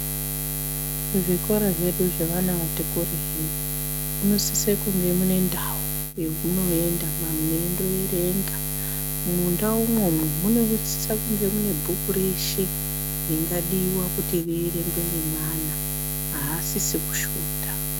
Muzvikora zvedu zvevana vati kurei munosise kunge mune ndau yemunoenda mweindoerenga. Mundau imwomwo munosise kunge mune bhuku reshe ringadiwa kuti rierengwe ngeana, aasisi kushota.